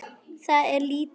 Það er lítið